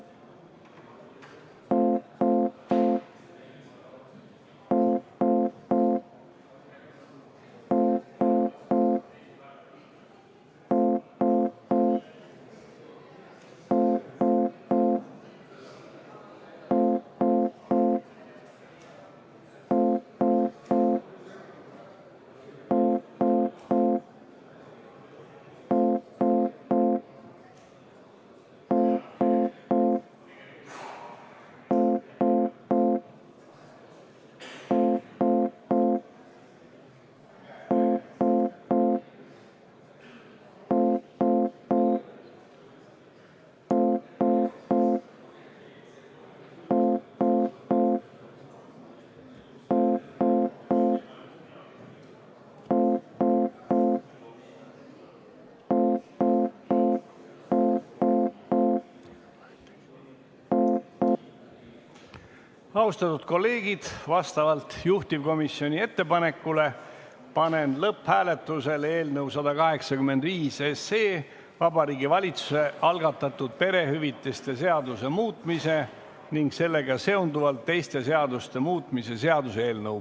Austatud kolleegid, vastavalt juhtivkomisjoni ettepanekule panen lõpphääletusele eelnõu 185, Vabariigi Valitsuse algatatud perehüvitiste seaduse muutmise ja sellega seonduvalt teiste seaduste muutmise seaduse eelnõu.